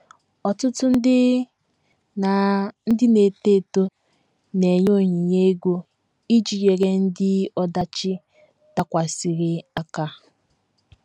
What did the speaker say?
Ọtụtụ ndị na - ndị na - eto eto na - enye onyinye ego iji nyere ndị ọdachi dakwasịrị aka